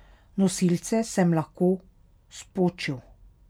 Nosilce sem lahko spočil.